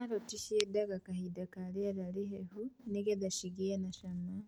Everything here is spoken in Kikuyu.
Karati ciendaga kahinda karĩera rĩhehu nĩgetha cigĩe na cama.